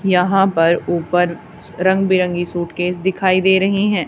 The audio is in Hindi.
यहां पर ऊपर रंग बिरंगी सूटकेस दिखाई दे रही हैं।